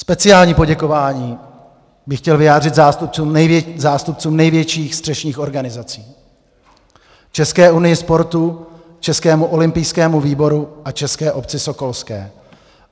Speciální poděkování bych chtěl vyjádřit zástupcům největších střešních organizací - České unii sportu, Českému olympijskému výboru a České obci sokolské.